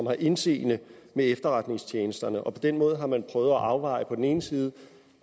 har indseende med efterretningstjenesterne på den måde har man prøvet at afveje på den ene side